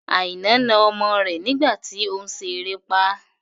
Aina na ọmọ rẹ nígbà tí òun ṣe erépá